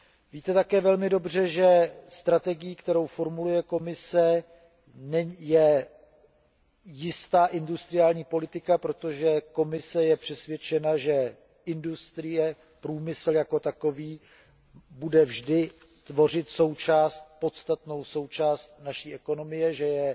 Víte také velmi dobře, že strategií, kterou formuluje Komise, je jistá industriální politika, protože Komise je přesvědčena, že průmysl jako takový bude vždy tvořit podstatnou součást naší ekonomie, že je